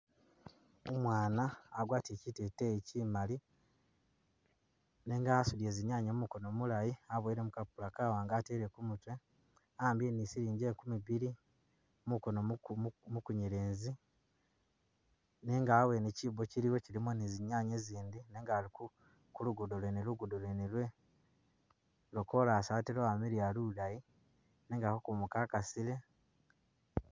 Umwana agwatile kyiteteyi kyimali nenga audie zinyanye mumukono mulayi aboyele mukapapula kawanga atele kumutwe ahambile ni siligi ekumi bili mukono mukunyelezi nenga hawewne kyibo kyiliwo kyilimo ni zinyanye zindi nenga ali kulugudo lwene lo kolasi atee lwamiliya lulayi nenga kakumu kakasile.